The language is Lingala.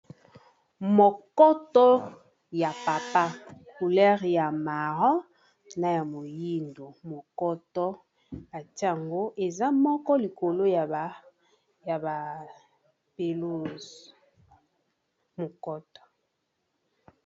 Mokoto ya papa couler ya maron na ya moyindo mokoto ati yango eza moko likolo ya ba peluze mokoto